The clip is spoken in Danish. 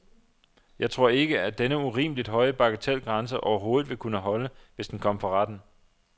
Jeg tror ikke, at denne urimeligt høje bagatelgrænse overhovedet vil kunne holde, hvis den kom for retten.